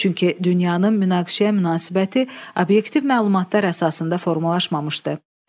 Çünki dünyanın münaqişəyə münasibəti obyektiv məlumatlar əsasında formalaşmamışdı.